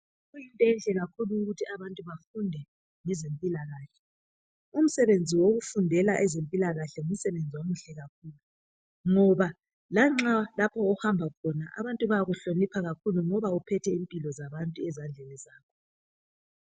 Esibhedlela kulula ukuthi abantu bafunde ngezempilakahle. Umsebenzi wokufundela ezempilakahle ngumsebenzi omuhle kakhulu ngoba lanxa lapho ohamba khona abantu bayakuhlonipha kakhulu ngoba uphethe impilo zabantu ezandleni zakho.